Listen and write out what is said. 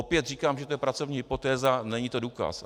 Opět říkám, že to je pracovní hypotéza, není to důkaz.